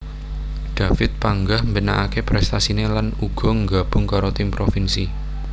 David panggah mbenakaké prestasiné lan uga nggabung karo tim provinsi